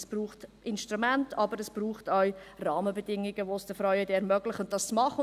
Es braucht Instrumente, aber es braucht Rahmenbedingungen, die es den Frauen ermöglichen, es zu tun.